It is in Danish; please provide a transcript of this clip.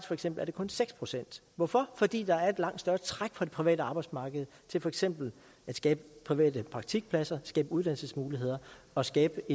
for eksempel kun seks procent hvorfor fordi der er et langt større træk fra det private arbejdsmarked til for eksempel at skabe private praktikpladser skabe uddannelsesmuligheder og skabe